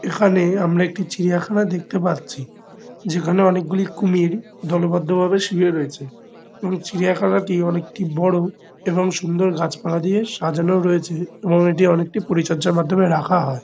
এখানে আমরা একটি চিড়িয়াখানা দেখতে পাচ্ছি। যেখানে অনেকগুলি কুমির দলবদ্ধভাবে শুয়ে রয়েছে এবং চিড়িয়াখানাটি অনেকটা বড়ো এবং সুন্দর গাছপালা দিয়ে সাজানো রয়েছে এবং এটি অনেকটা পরিচর্যার মাধ্যমে রাখা হয়।